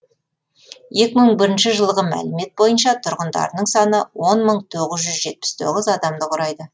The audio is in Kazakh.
екі мың бірінші жылғы мәліметтер бойынша тұрғындарының саны он мың тоғыз жүз жетпіс тоғыз адамды құрайды